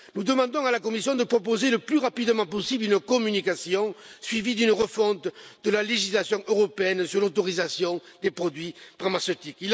Nous demandons à la Commission de proposer le plus rapidement possible une communication, suivie d'une refonte de la législation européenne sur l'autorisation des produits pharmaceutiques.